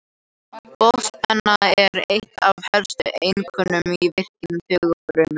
Boðspenna er eitt af helstu einkennum í virkni taugafrumna.